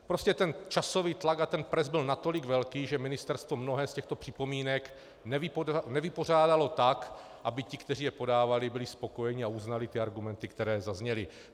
Prostě ten časový tlak a ten pres byl natolik velký, že ministerstvo mnohé z těchto připomínek nevypořádalo tak, aby ti, kteří je podávali, byli spokojeni a uznali ty argumenty, které zazněly.